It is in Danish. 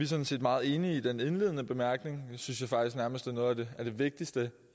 sådan set meget enige i den indledende bemærkning synes jeg faktisk nærmest er noget af det vigtigste